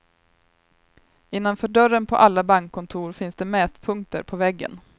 Innanför dörren på alla bankkontor finns det mätpunkter på väggen.